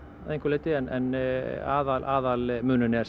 einhverju leyti en aðalmunurinn er